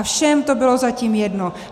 A všem to bylo zatím jedno.